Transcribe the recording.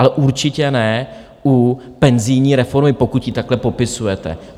Ale určitě ne u penzijní reformy, pokud ji takhle popisujete.